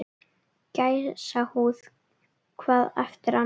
Gæsahúð hvað eftir annað